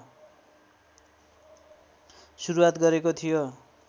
सुरुआत गरेको थियो